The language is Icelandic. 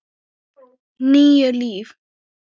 Níu líf